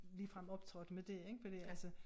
Ligefrem optrådte med det ikke fordi altså